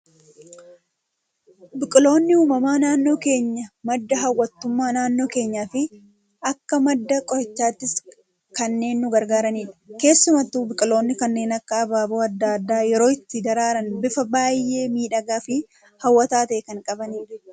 Biqiloonni uumamaa naannoo keenyaa madda hawwatummaa naannoo keenyaa fi akka madda qorichaattis kanneen nu gargaaranidha. Keessumattuu biqiloonni kanneen akka abaaboo addaa addaa yeroo itti daraaran bifa baayyee miidhagaa fi hawwataa ta'e kan qabanidha.